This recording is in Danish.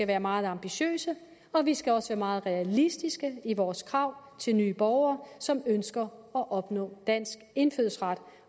være meget ambitiøse og vi skal også være meget realistiske i vores krav til nye borgere som ønsker at opnå dansk indfødsret